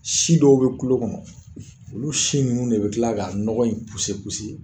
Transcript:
Si dɔw be kulo kɔnɔ olu si nunnu de be kila ka nɔgɔ in puse puse